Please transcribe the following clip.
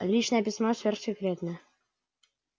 личное письмо сверхсекретное